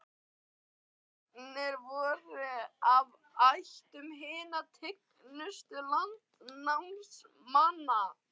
Goðarnir voru af ættum hinna tignustu landnámsmanna.